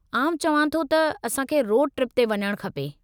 आउं चवां थो त असां खे रोड ट्रिप ते वञणु खपे।